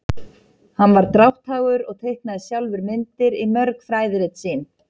Hann var drátthagur og teiknaði sjálfur myndir í mörg fræðirit sín.